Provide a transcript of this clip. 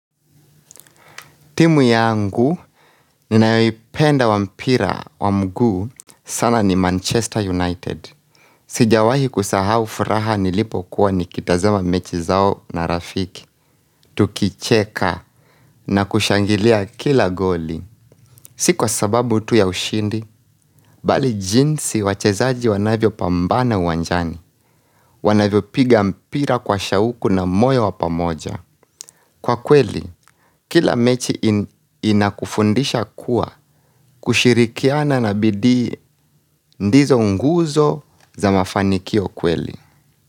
Timu yangu ninayoipenda wa mpira wa mguu sana ni Manchester United. Sijawahi kusahau furaha nilipokuwa nikitazama mechi zao na rafiki. Tukicheka na kushangilia kila goli. Sikwa sababu tu ya ushindi, bali jinsi wachezaji wanavyo pambana uwanjani. Wanavyo piga mpira kwa shauku na moyo wapamoja. Kwa kweli, kila mechi inakufundisha kuwa kushirikiana na bidii ndizo nguzo za mafanikio kweli.